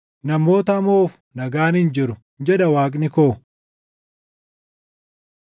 “Namoota hamoof nagaan hin jiru” jedha Waaqni koo.